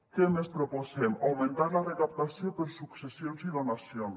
què més proposem augmentar la recaptació per successions i donacions